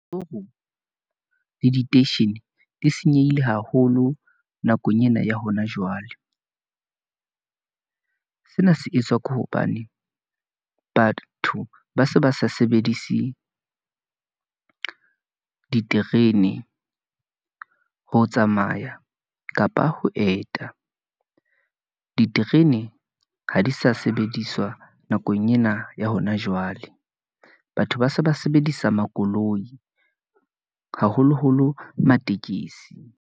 le diteishene di senyehile haholo nakong ena ya hona jwale . Sena se etswa ke hobane batho ba se ba sa sebedise , diterene ho tsamaya kapa ho eta . Diterene ha di sa sebediswa nakong ena ya hona jwale. Batho ba se ba sebedisa makoloi , haholoholo Matekesi.